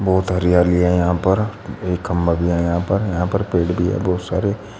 बहोत हरियाली हैं यहां पर एक खंभा भी है यहां पर यहां पर पेड़ भी है बहुत सारे।